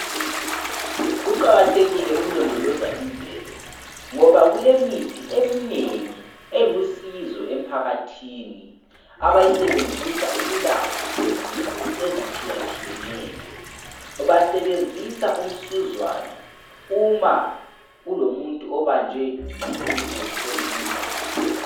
Kuqakathekile ukulondoloza imvelo ngoba kulemithi eminengi elusizo emphakathini abayisebenzisa ukulapha izifo ezitshiyatshiyeneyo .Basebenzisa umsuzwane uma kulomuntu obanjwe yisifo somvimbano